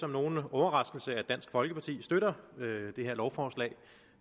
som nogen overraskelse at dansk folkeparti støtter det her lovforslag